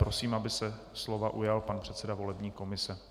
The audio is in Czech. Prosím, aby se slova ujal pan předseda volební komise.